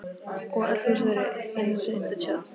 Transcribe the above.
Og öll hús eru eins undir tönn.